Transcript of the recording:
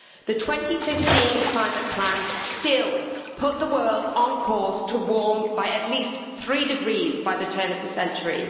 The 2015 climate plans still put the world on course to warm by at least 3 degrees by the turn of the century.